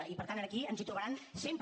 i per tant aquí ens hi trobaran sempre